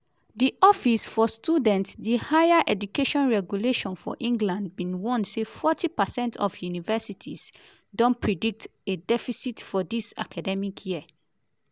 di office for students di higher education regulator for england bin warn say forty percent of universities don predict a deficit for dis academic year.